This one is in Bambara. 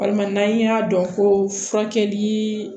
Walima n'an y'a dɔn ko furakɛli